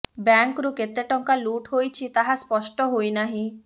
ବ୍ୟାଙ୍କରୁ କେତେ ଟଙ୍କା ଲୁଟ ହୋଇଛି ତାହା ସ୍ପଷ୍ଟ ହୋଇ ନାହିଁ